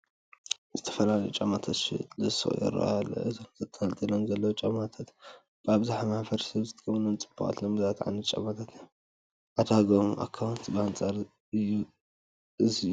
ዝተፈላለዩ ጫማታት ዝሽየጡሉ ሹቕ ይርአ ኣሎ፡፡ እዞም ተንጠልጢሎም ዘለዉ ጫማታት ኣብዝሓ ማሕበረሰብ ዝጥቀመሎም ፅቡቓትን ልሙዳትን ዓይነት ጫማታት እዮም፡፡ ዕዳግኦም እውንት ብኣንፃር እዚ እዩ፡፡